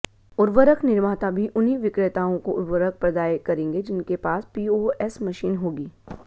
उर्वरक निर्माता भी उन्हीं विक्रेताओं को उर्वरक प्रदाय करेंगे जिनके पास पीओएस मशीन होगी